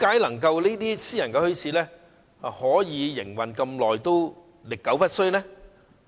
為何私營墟市營運至今也歷久不衰？